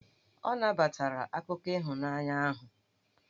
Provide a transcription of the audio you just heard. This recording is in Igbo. Ọ nabatara akụkọ ịhụnanya ahụ.